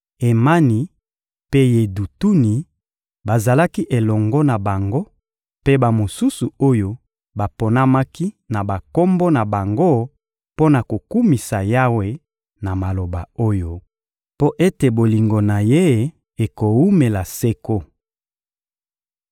Emani mpe Yedutuni bazalaki elongo na bango, mpe bamosusu oyo baponamaki na bakombo na bango mpo na kokumisa Yawe na maloba oyo: «Mpo ete bolingo na Ye ekowumela seko.»